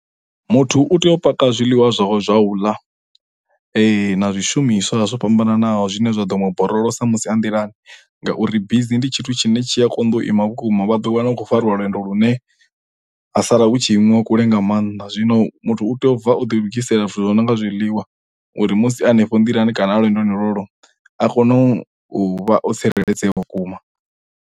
Muthu u tea u paka zwiḽiwa zwawe zwa u ḽa na zwishumiswa zwo fhambananaho zwine zwa ḓo muborolosa musi a nḓilani ngauri bisi ndi tshithu tshine tshi a konḓa u ima vhukuma vha ḓo wana hu khou fariwa lwendo lune ha sala hu tshi imiwa kule nga maanḓa zwino muthu u tea u bva o ḓi lugisela zwithu zwo no nga zwiḽiwa uri musi hanefho nḓilani kana lwendoni lwolwo a kone u uvha o tsireledzea vhukuma.